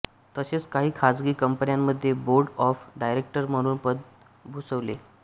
तसेच काही खाजगी कंपन्यांमध्ये बोर्ड ऑफ डायरेक्टर म्हणून पद भूषवले